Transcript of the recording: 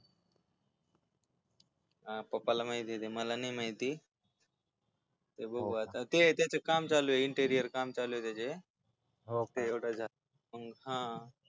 आ पप्पाला माहितेय ते मला नाही माहिती ते त्याच काम चालू इंटेरिअर काम चालूय त्याचे हो ते हा